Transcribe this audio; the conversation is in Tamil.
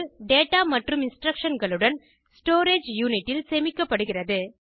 டேடா மற்றும் இன்ஸ்ட்ரக்ஷன்களுடன் ஸ்டோரேஜ் யூனிட்டில் சேமிக்கப்படுகிறது